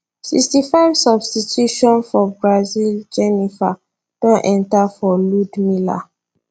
sixty five substitution for brazil jheniffer Accepted enta for ludmila